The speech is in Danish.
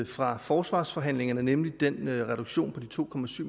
fra forsvarsforhandlingerne nemlig den reduktion på de to